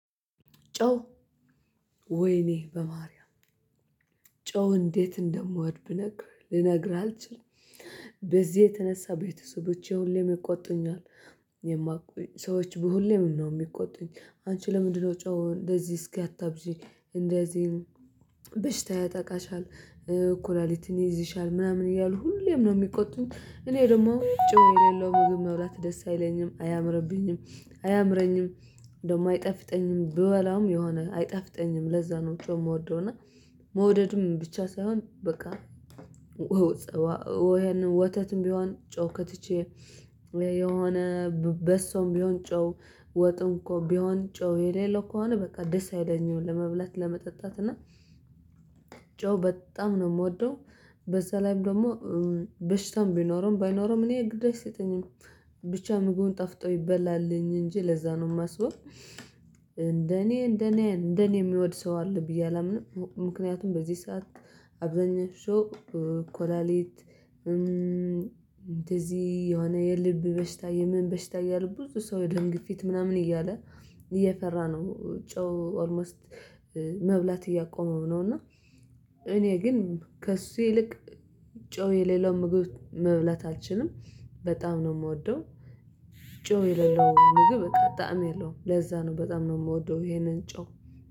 ጨው ወይኔ በማርያም ጨው እንዴት እንደምወድ ብነግርህ ልነግርህ አልችልም። በዚህ የተነሳ ቤተሰቦች ሁሌም ይቆጡኛል የማቆይ ሰዎች በሁሌም ነው የሚቆጡኝ። አንቺ ለምንድነው ጨው እንደዚህ እስኪ አታብዚ? እንደዚህ በሽታ ያጠቃሻል እኮ ኩላሊትን ይይዝሻል ምናምን እያሉ ሁሌም ነው የሚቆጡት። እኔ ደግሞ ጨው የሌለው መብላት ደስ አይለኝም አያምርብኝም አያምረኝም። ደግሞ አይጠፍጠኝም ብበላም የሆነ አይጠፍጠኝም ለዛ ነው ጨው የምወደው እና መውደዱም ብቻ ሳይሆን በቃ። ወተትም ቢሆን ጨው ከትቼ የሆነ በሶም ቢሆን ጨው ወጡን እኮ ቢሆን ጨው የሌለው ከሆነ በቃ ደስ አይለኛውን ለመብላት ለመጠጣት እና ጨው በጣም ነው የምወደው። በዛ ላይም ደግሞ በሽታም ቢኖረን ባይኖረን እኔ ግድ አይሰጠኝም ብቻ ምግቡን ጠፍቶ ይበላልኝ እንጂ ለዛ ነው የማስበው። እንደኔ እንደኔ እንደኔ የሚወድ ሰው አለ ብዬ አላምንም። ምክንያቱም በዚህ ሰዓት አብዛኛው ሰው ኮላሊት እንደዚህ የሆነ የልብ በሽታ የምን በሽታ እያለ ብዙ ሰው የደም ግፊት ምናምን እያለ እየፈራ ነው ጨው ኦልሞስት መብላት እያቆመ ነው። እና እኔ ግን ከእሱ ይልቅ ጨው የሌለው ምግብ መብላት አልችልም። በጣም ነው የምወደው ጨው የሌለው ምግብ በጣም የለውም ለዛ ነው በጣም ነው የምወደው። ይሄንን ጨው